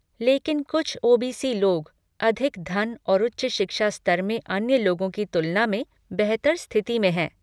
लेकिन कुछ ओ.बी.सी. लोग अधिक धन और उच्च शिक्षा स्तर में अन्य लोगों की तुलना में बेहतर स्थिति में हैं।